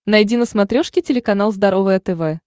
найди на смотрешке телеканал здоровое тв